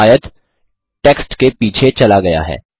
यहाँ आयत टेक्स्ट के पीछे चला गया है